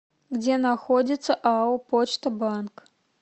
где находится ао почта банк